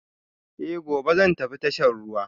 Eh, gobe zan tafi tashar ruwa